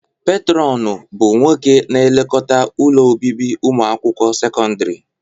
Petrọnu bụ nwoke na-elekọta ụlọ obibi ụmụakwụkwọ sekọndrị.